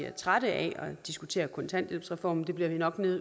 er trætte af at diskutere kontanthjælpsreformen men det bliver vi nok